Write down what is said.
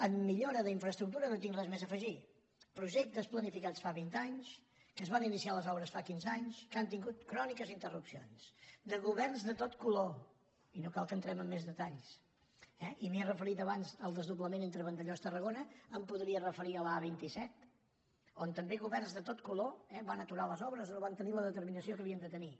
en millora d’infraestructures no tinc res més a afegir projectes planificats fa vint anys que es van iniciar les obres fa quinze anys que han tingut cròniques interrupcions de governs de tot color i no cal que entrem en més detalls eh i m’he referit abans al desdoblament entre vandellós i tarragona em podria referir a l’a vint set on també governs de tot color eh van aturar les obres no van tenir la determinació que havien de tenir